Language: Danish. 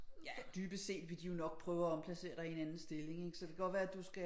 Ja dybest set vil de jo nok prøve at omplacere dig i en anden stilling ikke så det kan godt være at du skal